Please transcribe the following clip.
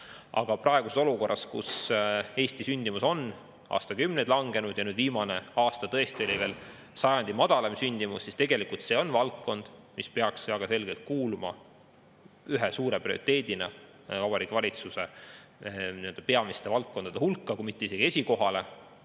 Aga praeguses olukorras, kus Eesti sündimus on aastakümneid langenud ja nüüd viimane aasta tõesti oli lausa sajandi madalaim sündimus, siis tegelikult see on valdkond, mis peaks väga selgelt kuuluma ühe suure prioriteedina Vabariigi Valitsuse peamiste valdkondade hulka, kui mitte isegi esikohal olema.